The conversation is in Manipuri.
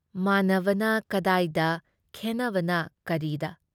ꯃꯥꯟꯅꯕꯅ ꯀꯗꯥꯏꯗ ꯈꯦꯟꯅꯕꯅ ꯀꯔꯤꯗ !